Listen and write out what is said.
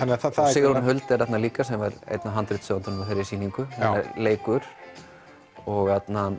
Sigrún Huld er þarna líka sem er handritshöfundur að þeirri sýningu leikur og